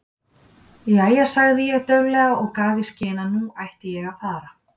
Jæja sagði ég dauflega og gaf í skyn að nú ætlaði ég að fara.